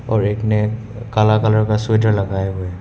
और एक ने काला कलर का स्वेटर लगया हुआ है।